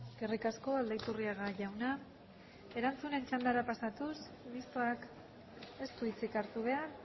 eskerrik asko aldaiturriaga jauna erantzunen txandara pasatuz mistoak ez du hitzik hartu behar